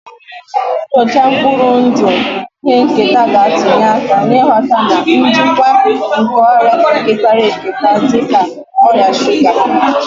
Nnyocha mkpụrụ ndụ ihe nketa ga-atụnye aka n'ịghọta na njikwa nke ọrịa ketara eketa dị ka ọrịa shuga